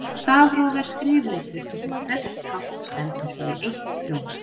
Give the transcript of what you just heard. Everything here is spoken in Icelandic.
Stafróf er skrifletur þar sem hvert tákn stendur fyrir eitt hljóð.